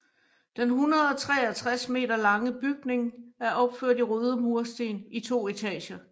Den 163 m lange bygning er opført i røde mursten i to etager